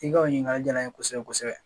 I ka o ɲininkali jala ye kosɛbɛ kosɛbɛ